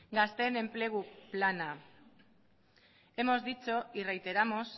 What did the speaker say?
gazteen enplegu plana hemos dicho y reiteramos